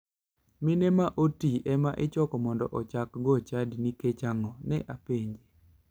" Mine ma oti ema ichoko mondo ichakgo chadi nikecch ang'o?" ne apenje